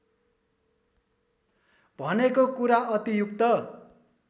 भनेको कुरा अतियुक्त